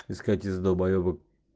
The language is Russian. искать из долбоебов